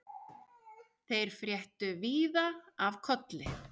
Þeir fréttu víða af Kolli.